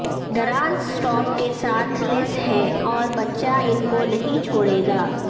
دراز سٹاپ کے ساتھ لیس ہیں اور بچہ ان کو نہیں چھوڑے گا